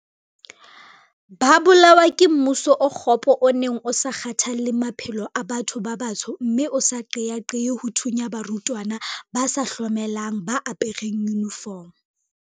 Ba bolawa ke mmuso o kgopo o neng o sa kgathalle maphelo a batho ba batsho mme o sa qeaqee ho thunya barutwana ba sa hlomelang ba apereng yunifomo.